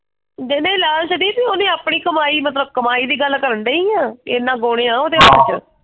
ਜਿਹਨੇ ਲਾਲਚ ਛੱਡੀ ਸੀ ਉਹਨੇ ਆਪਣੀ ਕਮਾਈ ਮਤਲਬ ਕਮਾਈ ਦੀ ਗੱਲ ਕਰਨ ਡਈ ਆ ਇਹਨਾਂ ਬੋਨੇ ਆ ਉਹਦੇ ਹੱਥ ਚ।